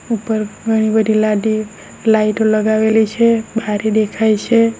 ઉપર ઘણી બધી લાદી લાઈટો લગાવેલી છે બારી દેખાય છે.